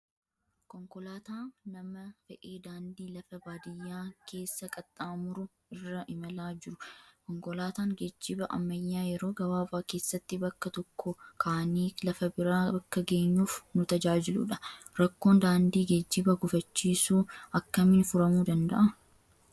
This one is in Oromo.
Konkolaataa nama fe'ee daandii lafa baadiyaa keessa qaxxaamuru irra imalaa jiru. Konkolaataan geejjiba ammayyaa yeroo gabaabaa keessatti bakka tokkoo kaanee lafa biraa akka geenyuuf nu tajaajiludha. Rakkoon daandii geejjiba gufachiisu akkamiin furamuu danda'a?